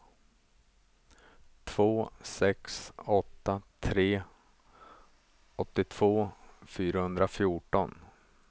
två sex åtta tre åttiotvå fyrahundrafjorton